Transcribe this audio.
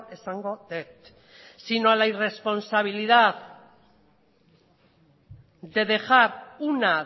esango dut sino a la irresponsabilidad de dejar una